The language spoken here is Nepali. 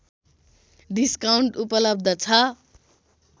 डिस्काउन्ट उपलब्ध छ